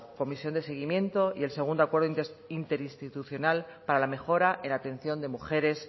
comisión de seguimiento y el segundo acuerdo interinstitucional para la mejora en atención de mujeres